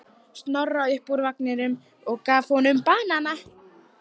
Snorra upp úr vagninum og gaf honum banana.